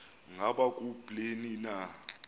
ngaba kubleni na